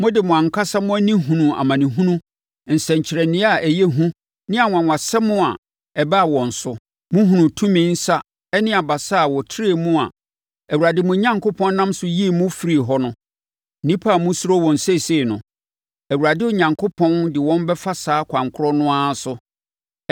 Mode mo ankasa mo ani hunuu amanehunu, nsɛnkyerɛnneɛ a ɛyɛ hu ne anwanwasɛm a ɛbaa wɔn so. Mohunuu tumi nsa ne abasa a wɔatrɛ mu a Awurade, mo Onyankopɔn, nam so yii mo firii hɔ no. Nnipa a mosuro wɔn seesei no, Awurade Onyankopɔn de wɔn bɛfa saa ɛkwan korɔ no ara so.